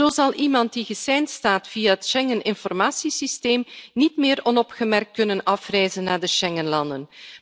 Zo zal iemand die geseind staat via het Schengen Informatie Systeem, niet meer onopgemerkt kunnen afreizen naar de Schengenlanden.